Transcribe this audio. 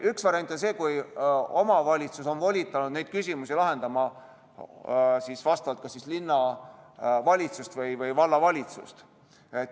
Üks variant on see, kui omavalitsus on volitanud neid küsimusi lahendama kas linnavalitsuse või vallavalitsuse.